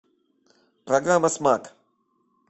программа смак